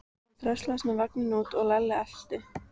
Hann dröslaðist með vagninn út og Lalli elti.